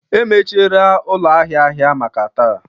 emechiela ụlọ ahịa ahịa maka taa